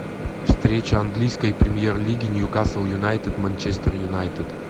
встреча английской премьер лиги ньюкасл юнайтед манчестер юнайтед